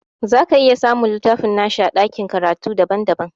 Zaka iya samun littafin nashi a ɗakin karatu daban daban